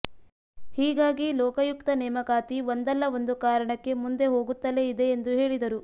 ಹೀಗಾಗಿ ಲೋಕಾಯುಕ್ತ ನೇಮಕಾತಿ ಒಂದಲ್ಲಾ ಒಂದು ಕಾರಣಕ್ಕೆ ಮುಂದೆ ಹೋಗುತ್ತಲೇ ಇದೆ ಎಂದು ಹೇಳಿದರು